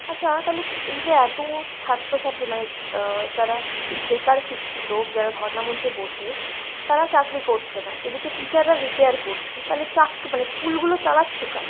আচ্ছা তালে এইযে এতো ছাত্রছাত্রী মানে অ্যাঁ যারা বেকার শিক্ষিত, যারা ধর্নামঞ্চে বসে তারা চাকরি করছে না এদিকে teacher রা retire করছে, তালে চাক মানে school গুলো চালাচ্ছে কারা?